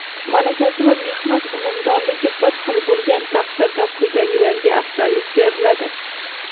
Malakasi va mehnat unumdorligi bir xil bo‘lgan taqdirda quyidagilarga afzallik beriladi:.